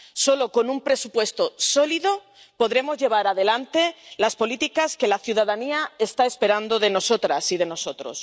Solo con un presupuesto sólido podremos llevar adelante las políticas que la ciudadanía está esperando de nosotras y de nosotros.